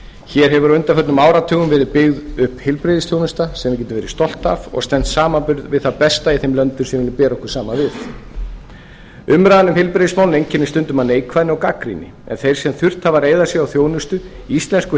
hér hefur á undanförnum áratugum verið byggð upp heilbrigðisþjónusta sem við getum verið stolt af og stenst samanburð við það besta í þeim löndum bera við viljum bera okkur saman við umræðan um heilbrigðismálin einkennist stundum af neikvæðni og gagnrýni en þeir sem þurft hafa að reiða sig á þjónustu íslensku